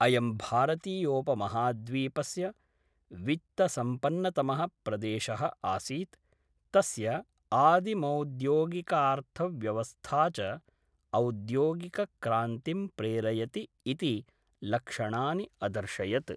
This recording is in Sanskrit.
अयं भारतीयोपमहाद्वीपस्य वित्तसम्पन्नतमः प्रदेशः आसीत्, तस्य आदिमौद्योगिकार्थव्यवस्था च औद्योगिकक्रान्तिं प्रेरयति इति लक्षणानि अदर्शयत्।